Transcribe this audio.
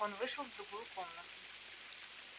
он вышел в другую комнату